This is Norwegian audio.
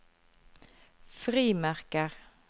frimerker